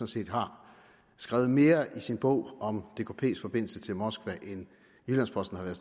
set har skrevet mere i sin bog om dkps forbindelse til moskva end jyllands posten har været